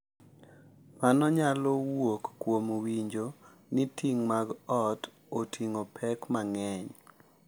Mano nyalo wuok kuom winjo ni ting’ mag ot oting’o pek mang’eny.